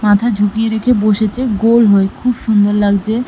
মাথা ঝুঁকিয়ে রেখে বসেছে গোল হয়ে খুব সুন্দর লাগছে ।